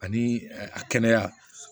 Ani a kɛnɛya